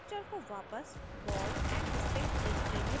structure को वापस ballandstick display में बदलने के लिए